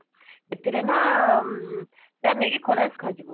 ସେଥିରେ ନା ସେଟା ନେଇକି ଖରାରେ ଶୁଖା ଯିବ